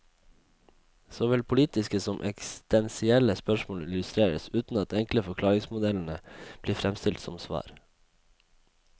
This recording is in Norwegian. Såvel politiske som eksistensielle spørsmål illustreres, uten at enkle forklaringsmodeller blir fremstilt som svar.